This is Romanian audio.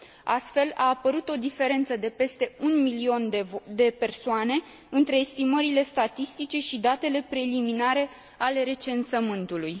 Astfel, a apărut o diferență de peste 1 milion de persoane între estimările statistice și datele preliminare ale recensământului.